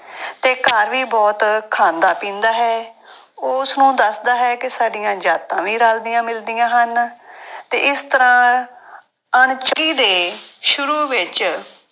ਤੇ ਘਰ ਵੀ ਬਹੁਤ ਖਾਂਦਾ ਪੀਂਦਾ ਹੈ ਉਹ ਉਸਨੂੰ ਦੱਸਦਾ ਹੈ ਕਿ ਸਾਡੀਆਂ ਜਾਤਾਂ ਵੀ ਰਲਦੀਆਂ ਮਿਲਦੀਆਂ ਹਨ ਤੇ ਇਸ ਤਰ੍ਹਾਂ ਦੇ ਸ਼ੁਰੂ ਵਿੱਚ